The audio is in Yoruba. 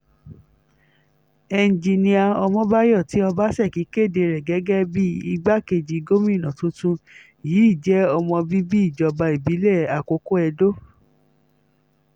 ẹnjinnìá ọmọbáyọ tí ọbaṣẹ́kí kéde rẹ̀ gẹ́gẹ́ bíi igbákejì gómìnà tuntun yìí jẹ́ ọmọ bíbí ìjọba ìbílẹ̀ àkókò edo